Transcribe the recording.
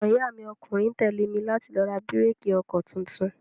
Ọmọ iya mi ọkùnrin tẹ́lé mi láti lọ ra bíréékì ọkọ tuntun.